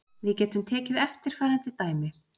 Við getum tekið eftirfarandi dæmi: